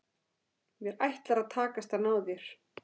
Mér ætlar að takast að ná þér.